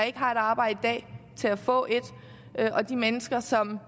ikke har et arbejde til at få et og de mennesker som